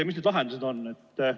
Mis need lahendused siis on?